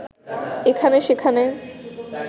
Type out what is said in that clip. এখানে সেখানে